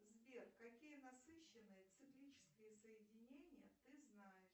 сбер какие насыщенные циклические соединения ты знаешь